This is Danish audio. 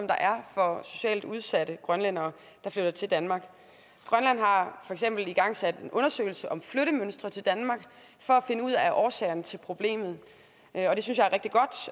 der er for socialt udsatte grønlændere der flytter til danmark grønland har for eksempel igangsat en undersøgelse om flyttemønstre til danmark for at finde ud af årsagerne til problemet